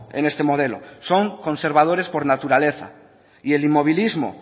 en este modelo son conservadores por naturaleza y el inmovilismo